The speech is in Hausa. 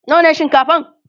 nawa ne shinkafan?